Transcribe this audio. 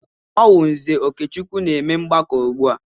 Ọ wụ Nze Okechukwu na-eme ọgbakọ ugbu a.